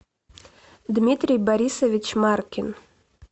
дмитрий борисович маркин